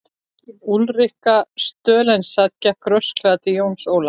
Úlrika Stoltzenwald gekk rösklega til Jóns Ólafs.